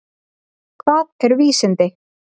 Hvað eru vísindi?